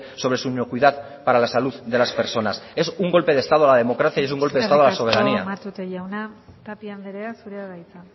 sobre su inocuidad para la salud de las personas es un golpe de estado a la democracia y es un golpe de estado a la soberanía eskerrik asko matute jauna tapia anderea zurea da hitza